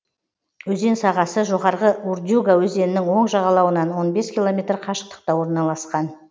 өзен сағасы жоғарғы урдюга өзенінің оң жағалауынан он бес километр қашықтықта орналасқан